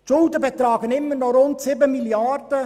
Die Schulden betragen noch immer rund 7 Mrd. Franken.